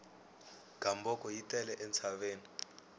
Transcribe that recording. gamboko yi tele entshaveni